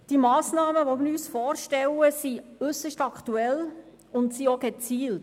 Die Massnahmen, die wir uns vorstellen, sind äusserst aktuell und sie sind auch gezielt.